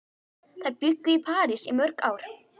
Þær bjuggu í París í mörg ár.